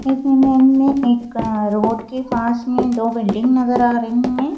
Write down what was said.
इस इमेज में एक रोड के पास में दो बिल्डिंग नजर आ रही हैं।